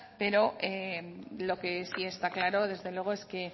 pero lo que sí está claro desde luego es que